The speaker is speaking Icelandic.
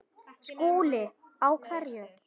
SKÚLI: Á hverju?